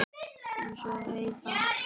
Eins og Heiða.